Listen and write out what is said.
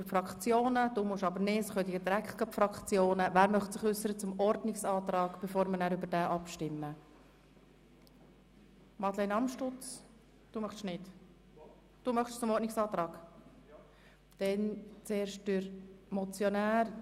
Bezüglich der Voten kann ich mir vorstellen, Grossrat Knutti das Wort zu erteilen und die Diskussion anschliessend für die Fraktionen zu öffnen.